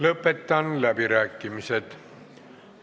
Lõpetan läbirääkimised.